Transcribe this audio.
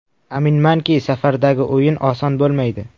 Aminmanki, safardagi o‘yin oson bo‘lmaydi.